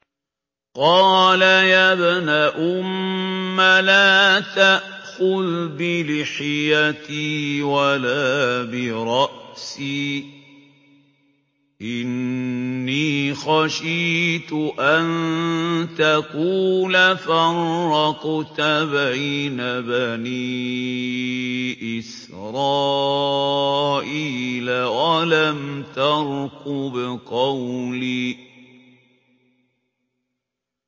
قَالَ يَا ابْنَ أُمَّ لَا تَأْخُذْ بِلِحْيَتِي وَلَا بِرَأْسِي ۖ إِنِّي خَشِيتُ أَن تَقُولَ فَرَّقْتَ بَيْنَ بَنِي إِسْرَائِيلَ وَلَمْ تَرْقُبْ قَوْلِي